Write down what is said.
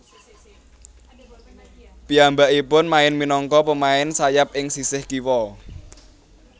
Piyambakipun main minangka pemain sayap ing sisih kiwa